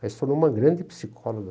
Ela se tornou uma grande psicóloga.